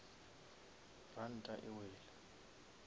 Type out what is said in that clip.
ranta e wele